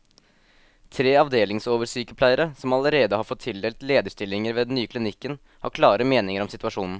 Tre avdelingsoversykepleiere, som allerede har fått tildelt lederstillinger ved den nye klinikken, har klare meninger om situasjonen.